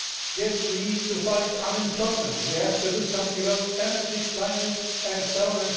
yes, we need to fight unemployment we have to do something about energy, climate, and so on.